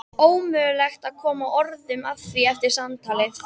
Ómögulegt að koma orðum að því eftir samtalið.